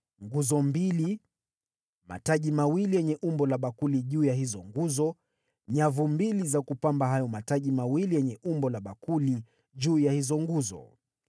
nguzo mbili; mataji mawili yenye umbo la bakuli juu ya hizo nguzo; nyavu mbili za kupamba hayo mataji mawili yenye umbo la bakuli juu ya hizo nguzo;